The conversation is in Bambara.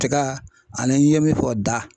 Tiga ani i ye min fɔ da.